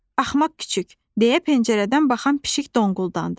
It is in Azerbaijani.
Axmaq küçüк, deyə pəncərədən baxan pişik donquldandı.